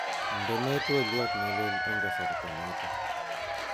Indenee twoliot neleel eng kasarta nito